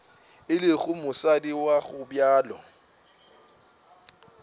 e lego mosadi wa gobjalo